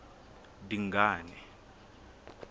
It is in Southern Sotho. dingane